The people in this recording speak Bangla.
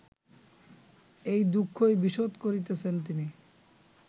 এই দুঃখই বিশদ করিতেছেন তিনি